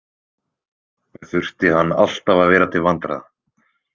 Þurfti hann alltaf að vera til vandræða?